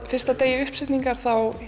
fyrsta degi uppsetningar